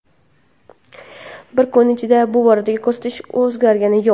Bir kun ichida bu boradagi ko‘rsatkich o‘zgargani yo‘q.